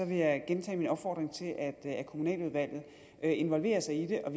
vil jeg gentage min opfordring til at kommunaludvalget involverer sig i det og